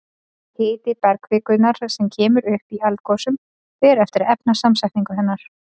Hiti bergkvikunnar sem kemur upp í eldgosum fer eftir efnasamsetningu hennar.